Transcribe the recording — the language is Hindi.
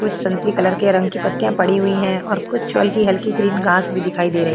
कुछ संत्री कलर के रंग पत्तियां पड़ी हुई है और कुछ हल्की हल्की ग्रीन घास भी दिखाई दे रही।